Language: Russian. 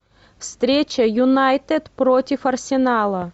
встреча юнайтед против арсенала